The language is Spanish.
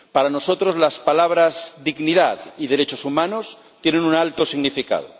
Para nosotros las palabras dignidad y derechos humanos tienen un alto significado.